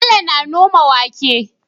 Bello na noma wake